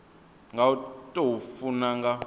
nga u tou funa nga